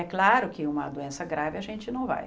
É claro que uma doença grave a gente não vai.